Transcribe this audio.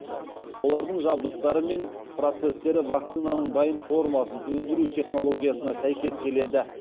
олардың жабдықтары мен процестері вакцинаның дайын формасын өндіру технологиясына сәйкес келеді